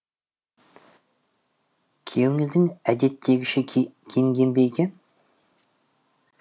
күйеуіңіз әдеттегіше киінген бе екен